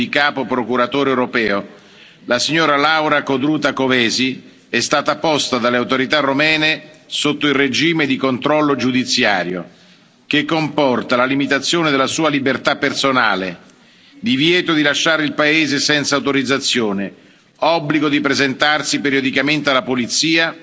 capo europeo, la signora Laura Codruta Kövesi, è stata posta dalle autorità romene sotto il regime di controllo giudiziario, che comporta la limitazione della sua libertà personale, divieto di lasciare il paese senza autorizzazione, obbligo di presentarsi periodicamente alla polizia